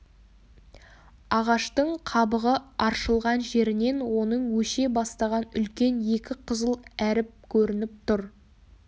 ағаштың қабығы аршылған жерінен оның өше бастаған үлкен екі қызыл әріп көрініп тұр